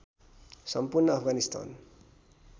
सम्पूर्ण अफगानिस्तान